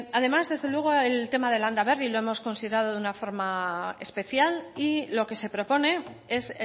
además desde luego el tema de landaberri lo hemos considerado de una forma especial y lo que se propone es